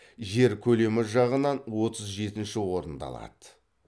жер көлемі жағынан отыз жетінші орынды алады